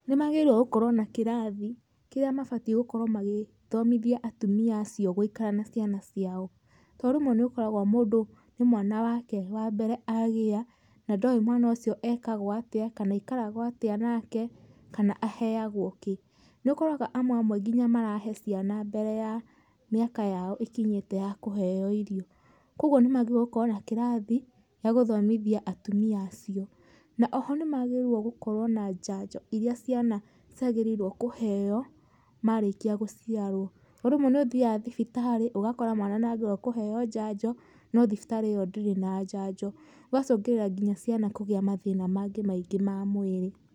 Nĩ magĩrĩirũo gũkorwo na kĩrathi kĩrĩa mabatiĩ gũkorwo magĩthomithia atumia acio gũikara na ciana ciao. Tondũ rĩmwe nĩũkoraga mũndũ nĩ mwana wake wa mbere agĩa na ndoĩ mwana ũcio ekagwo atĩa kana aikaragwo atĩa nake kana aheagwo kĩ. Nĩukoraga amwe amwe nginya marahe ciana mbere ya mĩaka yao ĩkinyĩte ya kũheo irio, kuũguo nĩ magĩrĩrio gũkorwo na kĩrathi gĩa gũthomithia atumia acio. Na oho nĩ magĩrĩirwo gũkorwo na njanjo iria ciana ciagĩrĩirwo kuheo marĩkia gũciarwo tondũ rĩmwe nĩ ũthiaga thibitari ũgakora mwana ni agĩrĩirwo kũheo njanjo no thibitari ĩyo ndĩrĩ na njanjo gũgacũngĩrĩra nginya ciana kũgĩa mathĩna mangĩ maingĩ ma mwĩrĩ.